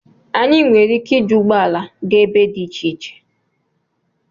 Anyị nwere ike iji ụgbọ ala gaa ebe dị iche iche